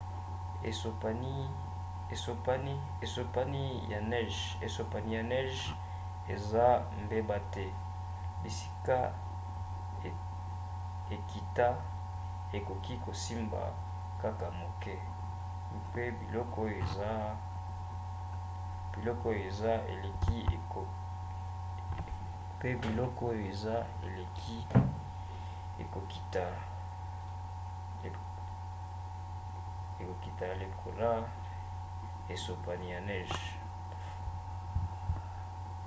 esopani ya neje eza mbeba te; bisika ekita ekoki kosimba kaka moke mpe biloko oyo eleki ekokita lekola esopani ya neje